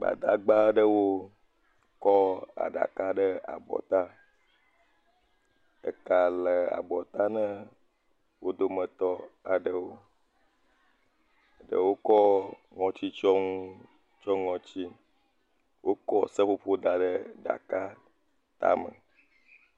Gbadagba aɖewo kɔ aɖaka ɖe abɔta. Eka le abɔta na wo dometɔ aɖewo. Eɖewo kɔ ŋɔtsitsyɔnu tsyɔ ŋɔtsi. Wokɔ seƒoƒo da ɖe ɖaka tame.